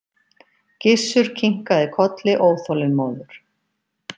Gizur kinkaði kolli óþolinmóður.